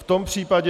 V tom případě...